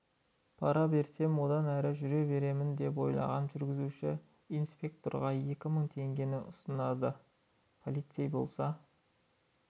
пара берсем одан әрі жүре беремін деп ойлаған жүргізуші инспекторға екі мың теңгені ұсынады полицей болса